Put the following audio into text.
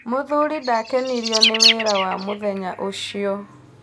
Mũthuri ndakenirio nĩ wĩra wa mũthenya ũcio.